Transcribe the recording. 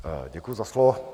Děkuji za slovo.